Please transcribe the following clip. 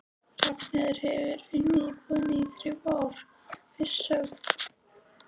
Ragnheiður hefur unnið í búðinni í þrjú ár, fyrst sögð